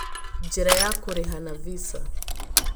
Njĩra ya kũrĩha na visa: